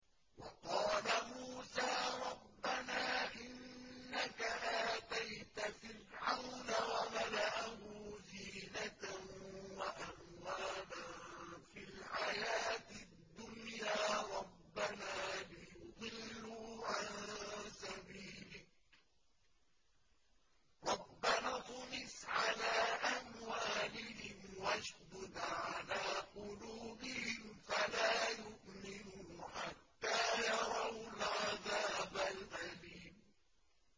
وَقَالَ مُوسَىٰ رَبَّنَا إِنَّكَ آتَيْتَ فِرْعَوْنَ وَمَلَأَهُ زِينَةً وَأَمْوَالًا فِي الْحَيَاةِ الدُّنْيَا رَبَّنَا لِيُضِلُّوا عَن سَبِيلِكَ ۖ رَبَّنَا اطْمِسْ عَلَىٰ أَمْوَالِهِمْ وَاشْدُدْ عَلَىٰ قُلُوبِهِمْ فَلَا يُؤْمِنُوا حَتَّىٰ يَرَوُا الْعَذَابَ الْأَلِيمَ